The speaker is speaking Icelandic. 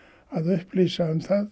að upplýsa um það